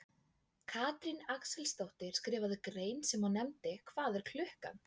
Katrín Axelsdóttir skrifaði grein sem hún nefndi Hvað er klukkan?